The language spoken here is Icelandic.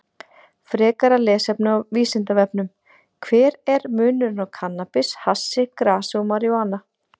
Frekara lesefni á Vísindavefnum: Hver er munurinn á kannabis, hassi, grasi og marijúana?